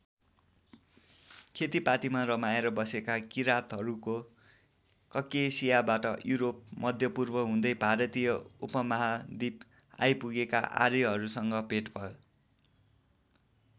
खेतीपातीमा रमाएर बसेका किरातहरूको ककेसियाबाट युरोप मध्यपूर्व हुँदै भारतीय उपमहादिप आइपुगेका आर्यहरूसँग भेट भयो।